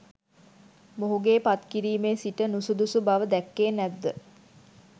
මොහුගේ පත්කිරිමේ සිට නුසුදුසු බව දැක්කේ නැත්ද?